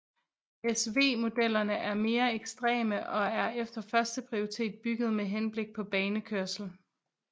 SV modellerne er mere ekstreme og er efter første prioritet bygget med henblik på banekørsel